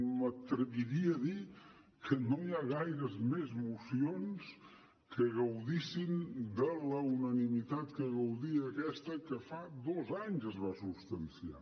m’atreviria a dir que no hi ha gaires més mocions que gaudeixin de la unanimitat de què gaudia aquesta que fa dos anys que es va substanciar